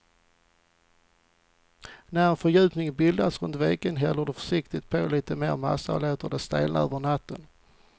När en fördjupning bildats runt veken häller du försiktigt på lite mer massa och låter det stelna över natten.